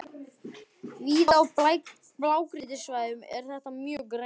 Víða á blágrýtissvæðunum er þetta mjög greinilegt.